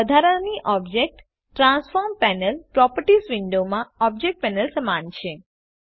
આ વધારાની object transform panel properties વિંડોમાં ઓબ્જેક્ટ પેનલ સમાન છે